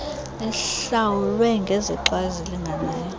ihlawulwe ngezixa ezilinganayo